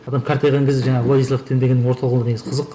адам қартайған кезде жаңағы владислав тен дегеннің орталығында негізі қызық